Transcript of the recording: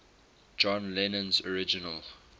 john lennon's original